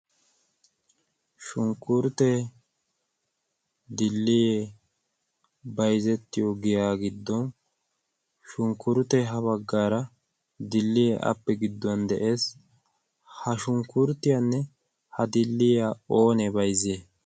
shunkkurttee, dilliye baizettiyo giyaa giddon shunkkurttee ha baggaara dilliyee appe gidduwan de7ees. ha shunkkurttiyaanne ha dilliyiya oonee baizziyai?